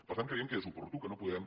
per tant creiem que és oportú que no podem